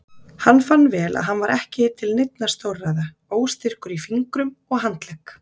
Hann fann vel að hann var ekki til neinna stórræða, óstyrkur í fingrum og handlegg.